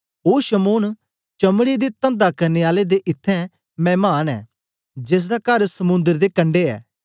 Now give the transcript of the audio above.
ओ शमौन चमड़े दे तंदा करने आले दे इत्थैं मैमान ऐ जेसदा कर समुंद्र दे कंडै ऐ